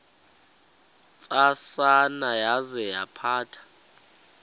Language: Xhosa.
ntsasana yaza yaphatha